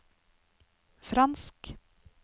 fransk